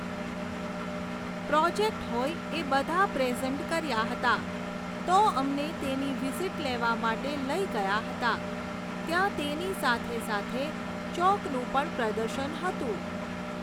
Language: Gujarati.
પ્રોજેક્ટ હોય એ બધા પ્રેઝન્ટ કર્યા હતા, તો અમને તેની વિઝિટ લેવા માટે લઈ ગયા હતા. ત્યાં તેની સાથે સાથે ચૉકનું પણ પ્રદર્શન હતું.